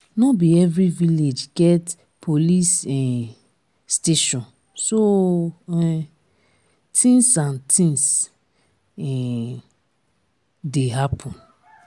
no be every village get police um station so um things and things um dey happen